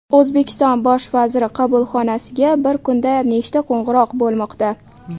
O‘zbekiston bosh vaziri qabulxonasiga bir kunda nechta qo‘ng‘iroq bo‘lmoqda?